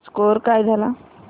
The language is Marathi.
स्कोअर काय झाला